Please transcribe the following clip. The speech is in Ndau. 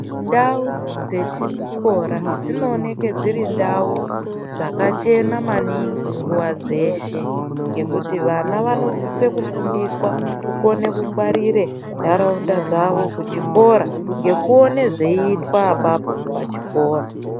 Ndau dzechikora dzinooneka dziri ndau dzakachena maningi munguwa dzeshe ngekuti vana vanosisa kufundiswa kukona kungwarira ndaraunda dzawo Muzvikora ndakuona zvinenge zvichitwa ipapo kuzvikora.